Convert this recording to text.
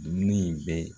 Dumuni in bɛ